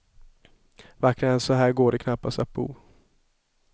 Vackrare än så här går det knappast att bo.